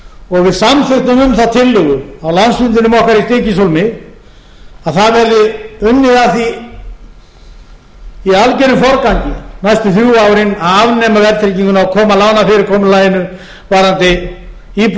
og við samþykktum um það tillögu á landsfundinum okkar í stykkishólmi að það verði unnið að því í algjörum forgangi næstu þrjú árin að afnema verðtrygginguna og koma lánafyrirkomulaginu varðandi íbúðalánin niður á sams konar fyrirgreiðslu og við